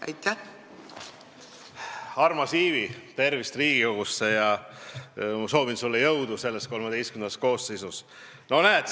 Armas Ivi, tere tulemast Riigikogusse ja soovin sulle jõudu selles XIII koosseisus!